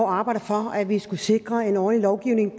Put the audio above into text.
år arbejdet for at vi skulle sikre en ordentlig lovgivning